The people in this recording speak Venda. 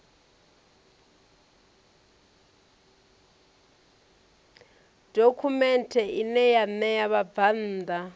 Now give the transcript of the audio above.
dokhumenthe ine ya ṋea vhabvann